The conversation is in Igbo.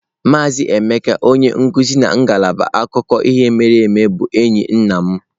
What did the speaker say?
Maazị Emeka onye nkuzi na ngalaba akụkọ ihe mere eme bụ enyi nna m.